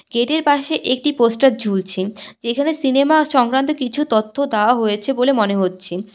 গেটের পাশে একটি পোস্টার ঝুলছে যেখানে সিনেমা সংক্রান্ত কিছু তথ্য দাওয়া হয়েছে বলে মনে হচ্ছে।